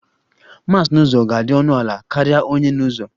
Mass n'ụzọ ga-adị ọnụ ala karịa onye n'ụzọ